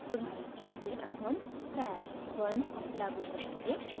उदाहरण के लिए अब हम stash @{1} लागू करेंगे